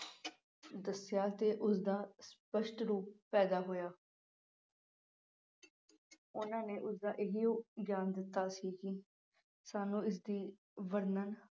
ਦੱਸਿਆ ਤੇ ਉਸਦਾ ਸਪਸ਼ਟ ਰੂਪ ਪੈਦਾ ਹੋਇਆ। ਉਨ੍ਹਾਂ ਨੇ ਉਸ ਦਾ ਇਹ ਓ ਗਿਆਨ ਦਿੱਤਾ ਸੀ ਕਿ ਸਾਨੂੰ ਇਸਦੀ ਵਰਣਨ